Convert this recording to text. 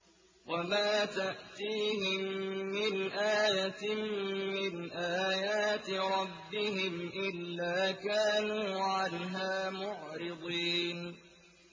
وَمَا تَأْتِيهِم مِّنْ آيَةٍ مِّنْ آيَاتِ رَبِّهِمْ إِلَّا كَانُوا عَنْهَا مُعْرِضِينَ